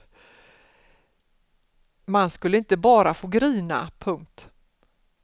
Man skulle inte bara få grina. punkt